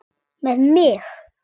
Með mig?